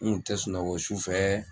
N kun tɛ sunɔgɔ su fɛ